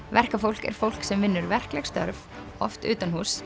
verkafólk er fólk sem vinnur verkleg störf oft